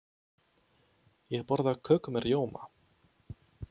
Ég borða köku með rjóma.